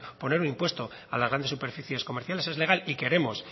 poner un impuesto a las grandes superficies comerciales es legal y queremos